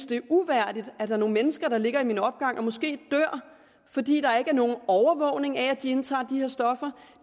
det er uværdigt at der er nogle mennesker der ligger i min opgang og måske dør fordi der ikke er nogen overvågning af at de indtager de her stoffer